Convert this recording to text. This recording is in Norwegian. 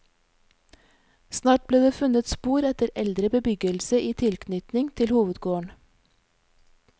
Snart ble det funnet spor etter eldre bebyggelse i tilknytning til hovedgården.